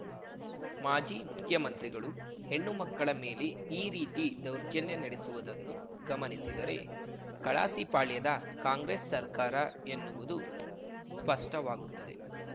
ಮಾಜಿ ಮುಖ್ಯಮಂತ್ರಿಗಳು ಹೆಣ್ಣು ಮಕ್ಕಳ ಮೇಲೆ ಈ ರೀತಿ ದೌರ್ಜನ್ಯ ನಡೆಸುವುದನ್ನು ಗಮನಿಸಿದರೆ ಕಲಾಸಿಪಾಳ್ಯದ ಕಾಂಗ್ರೆಸ್‌ ಸರ್ಕಾರ ಎನ್ನುವುದು ಸ್ಪಷ್ಟವಾಗುತ್ತದೆ